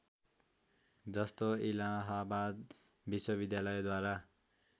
जस्तो इलाहाबाद विश्वविद्यालयद्वारा